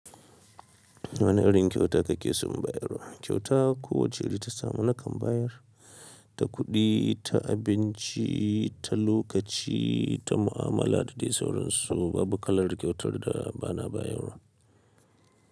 Wane irin kyauta kake son bayar wa? Kyauta ko wace iri ta samu nakan bayar, ta kuɗi, ta abinci, ta lokaci, ta mu'amala da dai sauransu babu kalar kyautar da bana bayarwa.